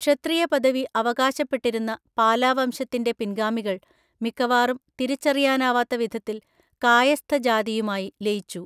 ക്ഷത്രിയപദവി അവകാശപ്പെട്ടിരുന്ന പാലാവംശത്തിൻ്റെ പിൻഗാമികൾ മിക്കവാറും തിരിച്ചറിയാനാവാത്തവിധത്തില്‍ കായസ്ഥജാതിയുമായി ലയിച്ചു.